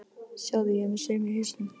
Sjáðu, ég er með saum í hausnum.